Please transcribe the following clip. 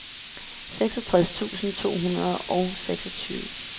seksogtres tusind to hundrede og seksogtyve